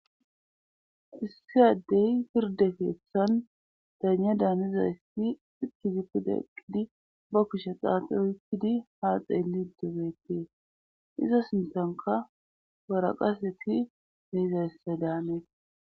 Issiyaddey pirde keesshan daanya daanizayssi iki ziku deqqidi ba kushexaati oykkidi haa xeeli dobeetee iza sinthanka baraqaseti behizayssa daanee.